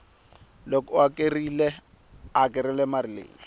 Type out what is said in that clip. loko a hakerile mali leyi